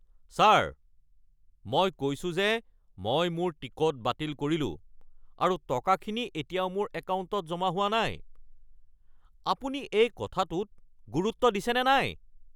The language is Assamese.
ছাৰ! মই কৈছোঁ যে মই মোৰ টিকট বাতিল কৰিলোঁ আৰু টকাখিনি এতিয়াও মোৰ একাউণ্টত জমা হোৱা নাই। আপুনি এই কথাটোত গুৰুত্ব দিছেনে নাই?